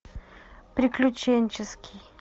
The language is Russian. приключенческий